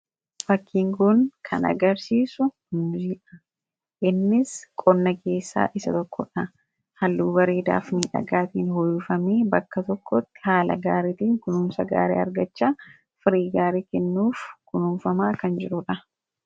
Fakkiin kun kan agarsiisu muuziidha. Innis qonna keessaa isa tokkodha. Halluu bareedaa fi miidhagaatiin uffifamee bakka tokkotti haala gaariitiin kunuunsa gaarii argachaa firii gaarii kennuuf kunuunfamaa kan jirudha.